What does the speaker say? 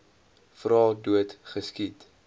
vra dood geskiet